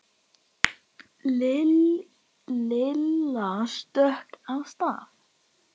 Lilla stökk af stað.